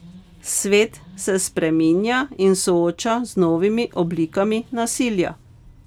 Svet se spreminja in sooča z novimi oblikami nasilja.